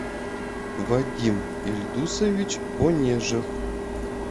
вадим ильдусович онежев